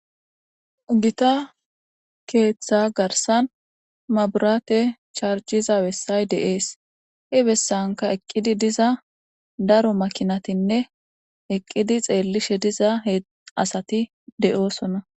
Gita keetha garsan maaburate charjiza bessay de'ees. He bessanka eqqidi diza daro makinatinne eqqidi xeellishe diza asati de'oosona.